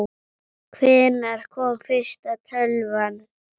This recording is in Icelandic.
Hvenær kom fyrsta tölvan?